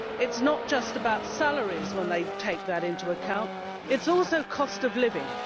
It is not just about salaries, when they take that into account it is also the cost of living.